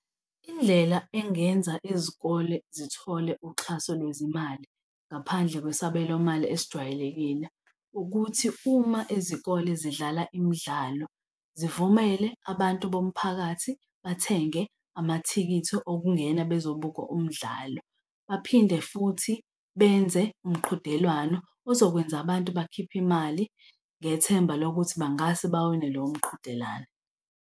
Indlela engenza izikole zithole uxhaso lwezimali ngaphandle kwesabelomali esijwayelekile ukuthi uma izikole zidlala imidlalo, zivumele abantu bomphakathi bathenge amathikithi okungena bezobuka umdlalo, baphinde futhi benze umqhudelwano ozokwenza abantu bakhiphe imali ngethemba lokuthi bangase bawine lowo mqhudelano.